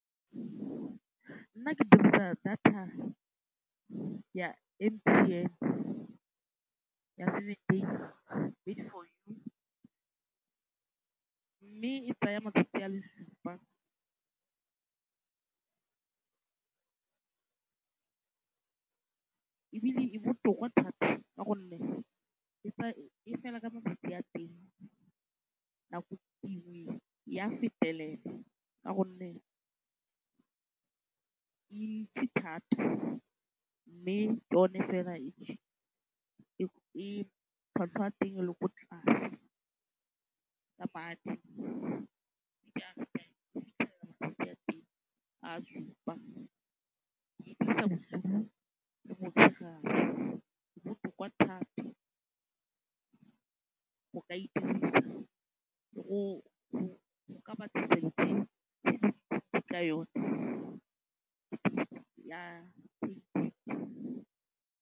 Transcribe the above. Nna ke dirisa data ya M_T_N ya seven days, Made4You, mme e tsaya matsatsi a le supa ebile e botoka thata ka gonne e fela ka matsatsi a teng, nako dingwe e a fetelela ka gonne e ntsi thata mme yone fela e cheap, tlhwatlhwa ya teng e le ko tlase ka madi. Matsatsi a teng a a supa, ke e dirisa bosigo le motshegare, e botoka thata. O ka e dirisa go ka .